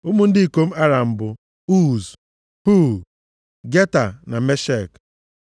Ụmụ ndị ikom Aram bụ, Uz, Hul, Geta na Meshek.